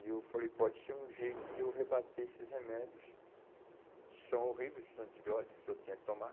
E eu falei, pode ser um jeito de eu rebater esses remédios, que são horríveis, esses antibióticos, que eu tinha que tomar.